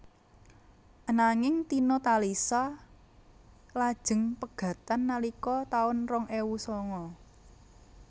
Ananging Tina Talisa lajeng pegatan nalika taun rong ewu sanga